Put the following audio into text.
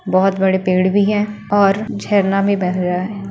बहोत बड़े पेड़ भी हैं और झरना में बह रहा है।